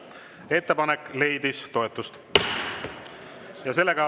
Ettepanek leidis toetust.